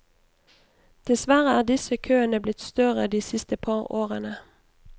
Dessverre er disse køene blitt større de siste par årene.